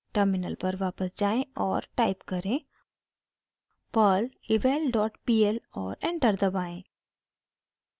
terminal पर वापस जाएँ और टाइप करें: perl eval dot pl और एंटर दबाएं